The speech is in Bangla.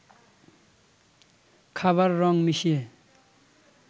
খাবার রং মিশিয়ে